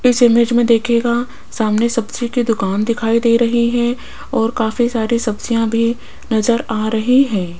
इस इमेज में देखिएगा सामने सब्जी की दुकान दिखाई दे रही है और काफी सारी सब्जियां भी नजर आ रही है।